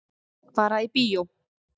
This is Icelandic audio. Fara í bíó.